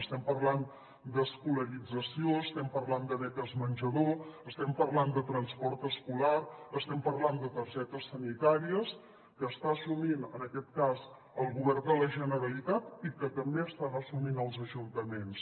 estem parlant d’escolarització estem parlant de beques menjador estem parlant de transport escolar estem parlant de targetes sanitàries que està assumint en aquest cas el govern de la generalitat i que també estan assumint els ajuntaments